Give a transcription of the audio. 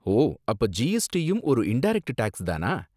ஓ, அப்போ ஜிஎஸ்டியும் ஒரு இன்டரக்ட் டேக்ஸ் தானா?